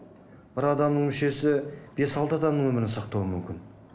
бір адамның мүшесі бес алты адамның өмірін сақтауы мүмкін